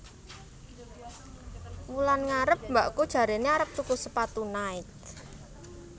Wulan ngarep mbakku jarene arep tuku sepatu Nike